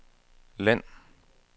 land